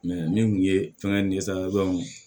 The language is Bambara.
min kun ye fɛngɛ